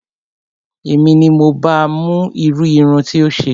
Èmi ni mo ba mú irú irun tí ó ṣe